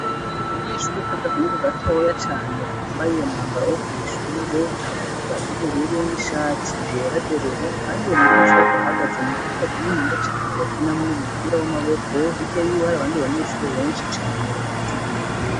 Akanyeshure k'agahungu gatoya cane kambaye umwambaro wo kw'ishure, ikabutura y'ubururu n'ishati yera derere kandi uwo munyeshure akaba ahagaze mu kibuga kininiya cane, bakiniramwo umupira w'amaboko, hirya yiwe hari abandi banyeshure benshi cane bahagaze inyuma yiwe.